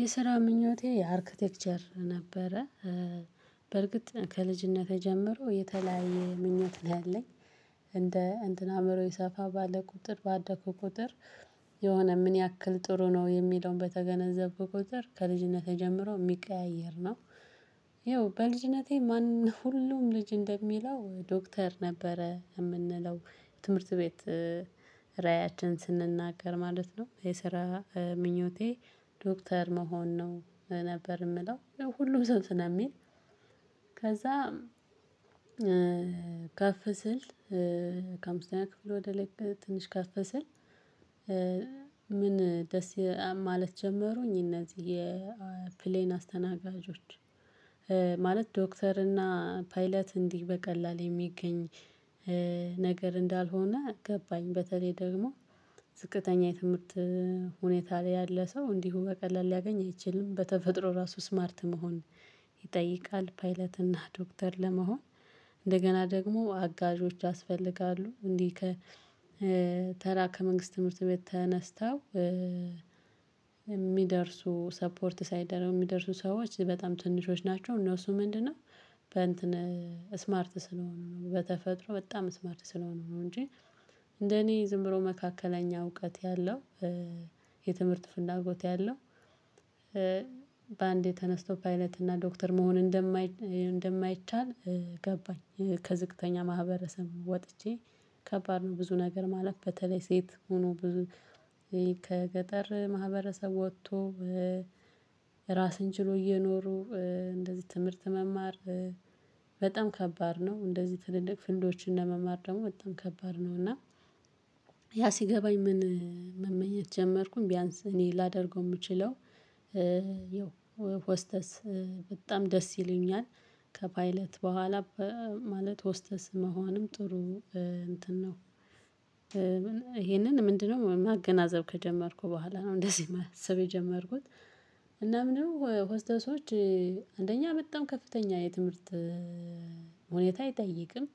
የስራ ምኞቴ የአርክቴክቸር ነበረ። በርግጥ ከልጂነቴ ጀምሮ የተለያየ ምኞት ላይ ያለኝ። እንደ እንትን አእምሮዬ ሰፋ ባለ ቁጥር ባደኩ ቁጥር። የሆነ ምን ያክል ጥሩ ነው የሚለውን በተገነዘብኩ ቁጥር ከልጂነቴ ጀምሮ የሚቀያየር ነው። ይኸው በልጅነቴ ማን ሁሉም ልጅ እንደሚለው ዶክተር ነበረ የምንለው ትምህርት ቤት። ራእያችን ስንናገር ማለት ነው የስራ ምኞቴ ዶክተር መሆን ነው ነበር የምለው ሁሉም ሰው ስለሚል። ከዛ ከፍ ስል። ከአምስተኛ ክፍል ወደ ላይ ትንሽ ካፍ ስል። ምን ደስ ማለት ጀመሩኝ እነዚህ የፕሌን አስተናጋጆች። ማለት ዶክተር እና ፓይለት እንዲህ በቀላል የሚገኝ ነገር እንዳልሆነ ገባኝ። በተለይ ደግሞ ዝቅተኛ የትምህርት ሁኔታ ላይ ያለ ሰው እንዲሁ በቀላሉ ሊያገኝ አይችልም። በተፈጥሮ ራሱ ስማርት መሆን ይጠይቃል። ፓይለት እና ዶክተር ለመሆን እንደገና ደግሞ አጋዦች ያስፈልጋሉ። እንዲህ ከ ተራ ከመንግስት ትምህርት ቤት ተነስተው። የሚደርሱ ሰፖርት ሳይደረጉ የሚደርሱ ሰዎች በጣም ትንሾች ናቸው። እነሱ ምንድነው? በእንትን ስማርት ስለሆኑ ነው በተፈጥሮ በጣም ስማርት ስለሆኑ ነው። እንጂ እንደኔ ዝም ብሎ መካከለኛ እውቀት ያለው የትምህርት ፍላጎት ያለው። በአንዴ ተነስቶ ፓይለት እና ዶክተር መሆን እንደማይቻል ገባኝ። ከዝቅተኛ ማህበረሰብ ወጥቼ ከባድ ነው። ብዙ ነገር ማለፍ በተለይ ሴት ሆኖ ብዙ ከገጠር ማህበረሰብ ወጥቶ። ራስን ችሎ እየኖሩ ትምህርት መማር በጣም ከባድ ነው። እንደዚህ ትድቅ ፌልዶችን ለመማር ደግሞ በጣም ከባድ ነው። እና ያ ሲገባኝ ምን መመኘት ጀመርኩኝ ቢያንስ እኔ ላደርገው የምችለው። ይኸው ሆስተስ በጣም ደስ ይለኛል። ከፓይለት በኋላ ማለት ሆስተስ መሆንም ጥሩ እንትን ነው። ይሄንን ምንድነው ማገናዘብ ከጀመርኩ በኋላ ነው እንደዚህ ማሰብ የጀመርኩት። እና ምንድነው? ሆስተሶች አንደኛ በጣም ከፍተኛ የትምህርት ሁኔታ አይጠይቅም።